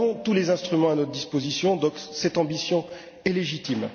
Nous avons tous les instruments à notre disposition, cette ambition est donc légitime.